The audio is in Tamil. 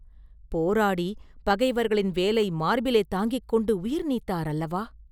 போராடிப் பகைவர்களின் வேலை மார்பிலே தாங்கிக் கொண்டு உயிர்நீத்தார் அல்லவா?